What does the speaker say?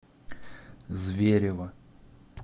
зверево